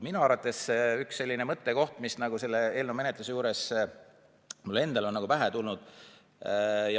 See on üks mõttekoht, mis selle eelnõu menetluse juures on mulle pähe tulnud.